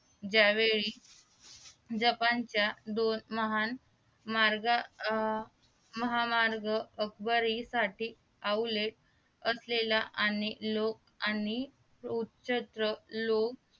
ज्या वेळी जपान च्या दोन महान मार्ग महामार्ग आकबरी साठी अवलेख असलेला आणि लोक आणि उत्क्षेत्र लोक